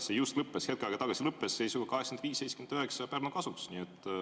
See hetk tagasi just lõppes seisuga 85 : 79 Pärnu kasuks.